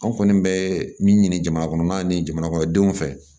An kɔni bɛ min ɲini jamanakɔnɔmaw ni jamanakɔnɔdenw fɛ